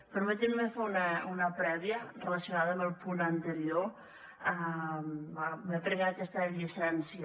permetin me fer una prèvia relacionada amb el punt anterior me prenc aquesta llicència